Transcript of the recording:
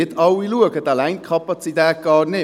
Doch auch dort: Man geht nicht überall hin.